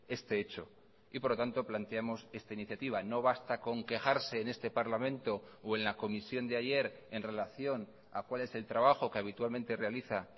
este hecho y por lo tanto planteamos esta iniciativa no basta con quejarse en este parlamento o en la comisión de ayer en relación a cuál es el trabajo que habitualmente realiza